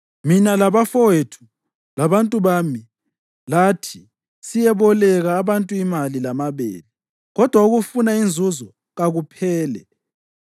Mina labafowethu labantu bami lathi siyabeboleka abantu imali lamabele. Kodwa ukufuna inzuzo kakuphele!